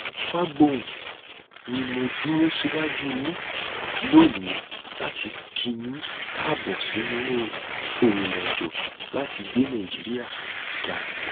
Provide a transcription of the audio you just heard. fagbohun ni mo dúró síwájú yín lónìí láti kí yín káàbọ sínú ìrìnàjò láti gbé nàìjíríà ga